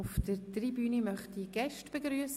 Auf der Tribüne möchte ich Gäste begrüssen.